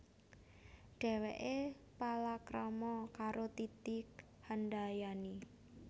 Dhèwèké palakrama karo Titi Handayani